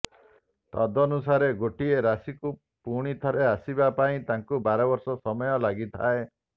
ତଦନୁସାରେ ଗୋଟିଏ ରାଶିକୁ ପୁଣି ଥରେ ଆସିବା ପାଇଁ ତାଙ୍କୁ ବାରବର୍ଷ ସମୟ ଲାଗିଥାଏ